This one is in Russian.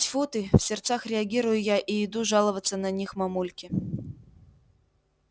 тьфу ты в сердцах реагирую я и иду жаловаться на них мамульке